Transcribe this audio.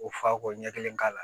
O fa ko ɲɛ kelen k'a la